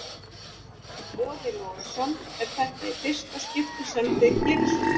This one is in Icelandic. Boði Logason: Er þetta í fyrsta skipti sem þið gerið svona?